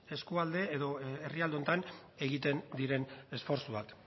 eskualde edo herrialde honetan egiten diren esfortzuak